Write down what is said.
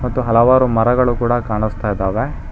ಮತ್ತು ಹಲವಾರು ಮರಗಳು ಕೂಡ ಕಾಣಿಸ್ತಾ ಇದ್ದಾವೆ.